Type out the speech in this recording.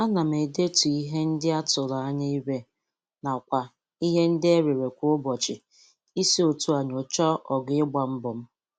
Ana m edetu ihe.ndị a tụrụ anya ire nakwa ihe ndị e rere kwa ụbọchị isi otu a nyocha ogo ịgba mbọ m.